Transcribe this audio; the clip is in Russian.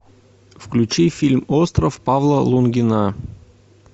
включи фильм остров павла лунгина